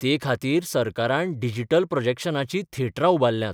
ते खातीर सरकारान डिजिटल प्रॉजॅक्शनाचीं थेटरां उबारल्यांत.